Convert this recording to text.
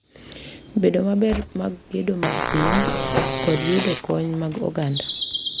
Bedo maber mag gedo mag piny, kod yudo kony mag oganda